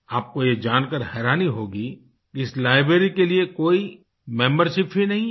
आपको ये जानकार हैरानी होगी कि इस लाइब्रेरी के लिए कोई मेंबरशिप ही नहीं है